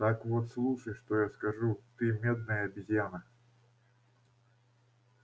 так вот слушай что я скажу ты медная обезьяна